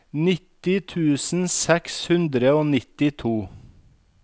nitti tusen seks hundre og nittito